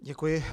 Děkuji.